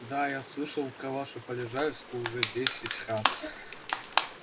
да я слышал про вашу полежаевскую уже десять раз